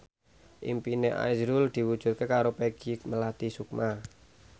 impine azrul diwujudke karo Peggy Melati Sukma